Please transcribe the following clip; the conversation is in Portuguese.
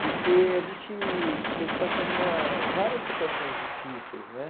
Porque a gente teve passando uma várias situações difíceis, né?